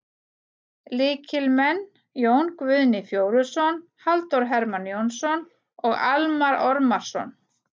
Lykilmenn: Jón Guðni Fjóluson, Halldór Hermann Jónsson og Almarr Ormarsson.